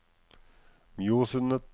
Mjosundet